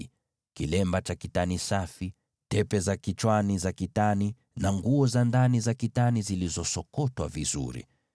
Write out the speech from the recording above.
na kilemba cha kitani safi, tepe za kichwani za kitani, na nguo za ndani za kitani iliyosokotwa vizuri.